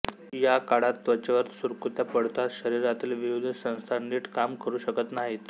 या काळात त्वचेवर सुरकुत्या पडतात शरीरातील विविध संस्था नीट काम करू शकत नाहीत